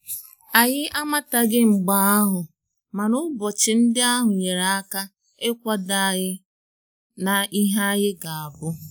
anyị amataghi mgbe ahụ mana ụbọchị ndị ahụ nyere aka ikwado anyi na ihe anyị ga abu